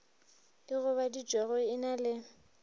e gobaditšwego e na le